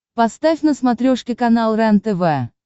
поставь на смотрешке канал рентв